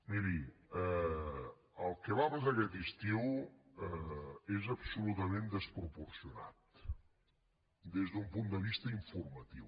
miri el que va passar aquest estiu és absolutament desproporcionat des d’un punt de vista informatiu